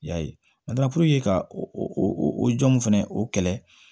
I y'a ye ka o jɔn nun fɛnɛ o kɛlɛ